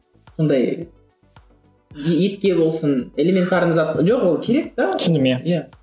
ондай етке болсын элементарный зат жоқ ол керек те ол